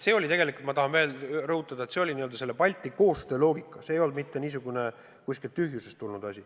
Aga tegelikult ma tahan veel rõhutada, et Balti koostöö loogika ei ole mitte kuskilt tühjusest tulnud asi.